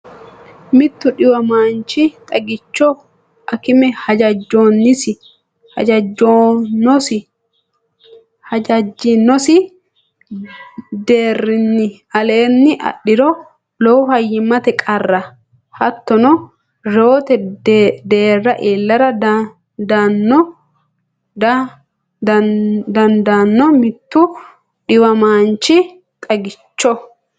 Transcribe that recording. Mittu dhiwamaanchi xagicho akime hajajjinosi deerrinni aleenni adhiro, lowo fayyimmate qarrira hattono reewote deerra iillara dan- daanno Mittu dhiwamaanchi xagicho.